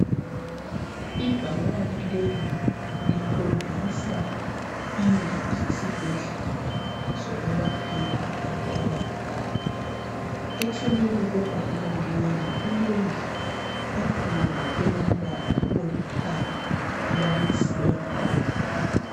Ibhakane leli likhombisa indlu yesibhedlela sokwelaphela abantu abagulayo. Eceleni kwebhakane leli kulendlu enkulu elombala olithanga elamazenge abomvana.